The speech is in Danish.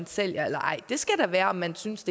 sælge eller ej det afgørende skal være om man synes